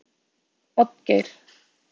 Oddgeir